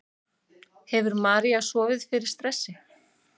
Hefur María sofið fyrir stressi?